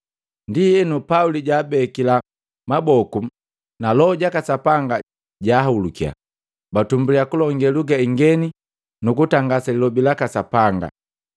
Ndienu, Pauli jaabekila maboku, na Loho jaka Sapanga janhulukiya, batumbuliya kulonge luga ingeni nukutangasa Lilobi laka Sapanga.